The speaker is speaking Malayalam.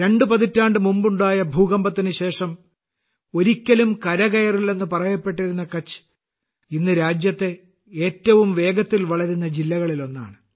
രണ്ട് പതിറ്റാണ്ട് മുമ്പ് ഉണ്ടായ ഭൂകമ്പത്തിന് ശേഷം ഒരിക്കലും കരകയറില്ലെന്ന് പറയപ്പെട്ടിരുന്ന കച്ച് ഇന്ന് രാജ്യത്തെ ഏറ്റവും വേഗത്തിൽ വളരുന്ന ജില്ലകളിലൊന്നാണ്